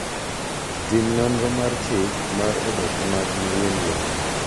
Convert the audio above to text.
Tim nonro mar chik mar oboke mag wuon lowo.